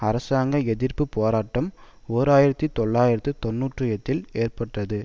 அரசாங்க எதிர்ப்பு போராட்டம் ஓர் ஆயிரத்தி தொள்ளாயிரத்து தொன்னூற்றி எட்டில் ஏற்பட்டது